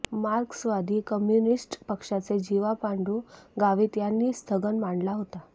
मार्क्सवादी कम्युनिस्ट पक्षाचे जीवा पांडू गावित यांनी हा स्थगन मांडला होता